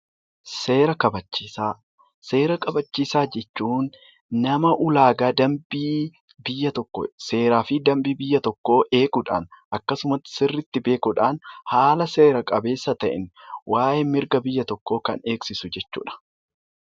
Seera kabachiisaa Seera kabachiisaa jechuun nama ulaagaa dambii biyya tokko seeraa fi dambii eeguudhaan akkasumatti dambii beekuudhaan haala seera qabeessa ta'een mirga biyya tokkoo kan eegsisu jechuudha.